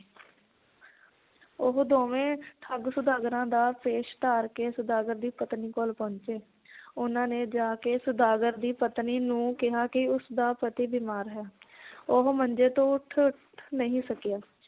ਉਹ ਦੋਵੇਂ ਠੱਗ ਸੌਦਾਗਰਾਂ ਦਾ ਭੇਸ਼ ਧਾਰ ਕੇ ਸੌਦਾਗਰ ਦੀ ਪਤਨੀ ਕੋਲ ਪਹੁੰਚੇ ਉਹਨਾਂ ਨੇ ਜਾ ਕੇ ਸੌਦਾਗਰ ਦੀ ਪਤਨੀ ਨੂੰ ਕਿਹਾ ਕਿ ਉਸ ਦਾ ਪਤੀ ਬਿਮਾਰ ਹੈ ਉਹ ਮੰਜੇ ਤੋਂ ਉੱਠ ਨਹੀ ਸਕਿਆ